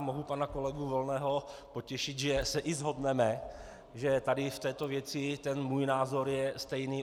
A mohu pana kolegu Volného potěšit, že se i shodneme, že tady v této věci ten můj názor je stejný.